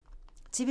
TV 2